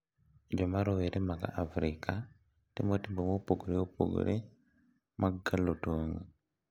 Joma rowere mag Afrika timo timbe mopogore opogore mag kalo tong`.